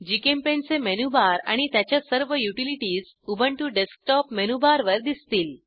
GChemPaint चे menu bar आणि त्याच्या सर्व युटिलिटीज उबंटु डेस्कटॉप मेनूबारवर दिसतील